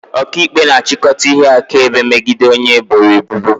Ọkaikpe na-achịkọta ihe akaebe megide onye eboro ebubo